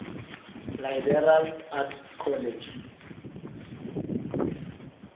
liberal arts college